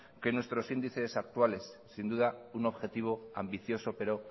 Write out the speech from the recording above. que nuestros índices actuales sin duda un objetivo ambicioso pero